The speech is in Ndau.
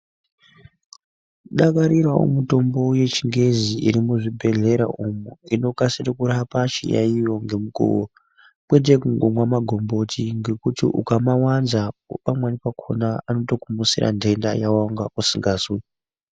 Dakarirawo mutombo yechingezi iri mu zvibhedhlera umu inokasire kurapa chi yayiyo nge mukuvo kwete kungomwa magomboti ngekuti ukama wanza pamweni pakona anotoku mutsira dhenda yawanga usingazwi.